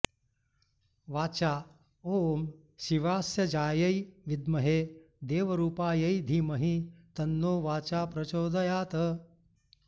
वाचा ॐ शिवास्यजायै विद्महे देवरूपायै धीमहि तन्नो वाचा प्रचोदयात्